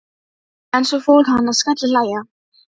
Ég reyni að gleyma því svona dags